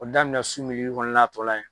O daminɛ su kɔnɔna a tɔ la yen